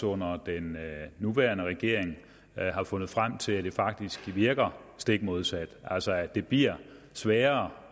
under den nuværende regering har fundet frem til at det faktisk virker stik modsat altså at det bliver sværere